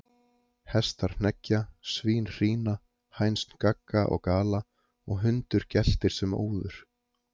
Hestar hneggja, svín hrína, hænsn gagga og gala, og hundur geltir sem óður.